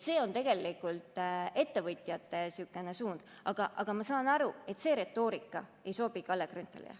See on tegelikult ettevõtjate suund, aga ma saan aru, et see retoorika ei sobi Kalle Grünthalile.